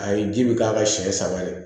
A ye ji bi k'a ka siɲɛ saba de